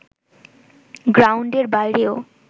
গ্রাউন্ডের বাইরেও